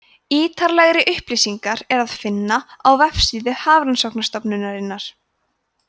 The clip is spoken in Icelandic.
ítarlegri upplýsingar er að finna á vefsíðu hafrannsóknastofnunarinnar